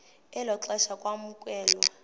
elo xesha kwamkelwe